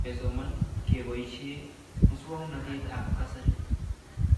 Kesoman kepoishe muswognatet ab kasari